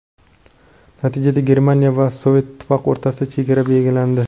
Natijada Germaniya va Sovet Ittifoqi o‘rtasida chegara belgilandi.